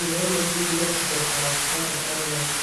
impwemu ziwe zizzotangura kutagenda neza.